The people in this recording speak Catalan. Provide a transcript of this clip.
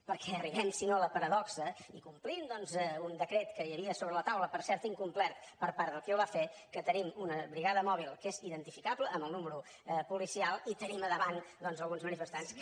perquè arribem si no a la paradoxa i complint doncs un decret que hi havia sobre la taula per cert incomplert per part de qui el va fer que tenim una brigada mòbil que és identificable amb el número policial i tenim a davant doncs alguns manifestants que